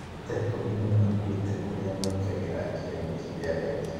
Andũ ta ikũmi nĩ makuĩte kũrĩa maingagĩre njira-inĩ cia reri.